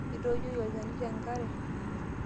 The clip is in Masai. Etiojoyie olchani tenkare.